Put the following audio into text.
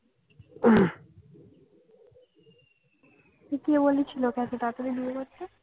কে বলেছিল ওকে এত তাড়াতাড়ি বিয়ে করতে?